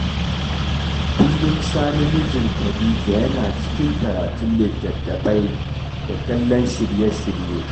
Kullum Sani mijin Khadija yana cikin karatun litattafai da kallon shirye-shirye